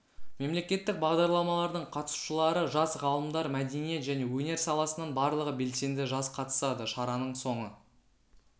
мемлекеттік бағдарламалардың қатысушылары жас ғалымдар мәдениет және өнер саласынан барлығы белсенді жас қатысады шараның соңы